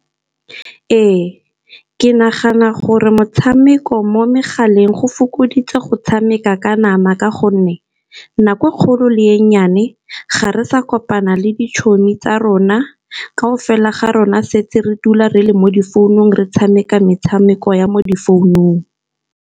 Ee, ke nagana gore motshameko mo megaleng go fokoditse go tshameka ka nama. Ka gonne nako kgolo le e nnyane ga re sa kopana le ditšhomi tsa rona, kao fela ga rona setse re dula re le mo difounung re tshameka metshameko ya mo di founung.